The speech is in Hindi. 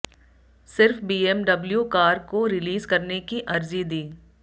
सिर्फ बीएमडब्लू कार को रिलीज करने की अर्जी दी